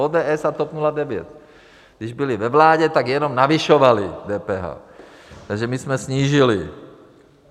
ODS a TOP 09, když byly ve vládě, tak jenom navyšovaly DPH, takže my jsme snížili.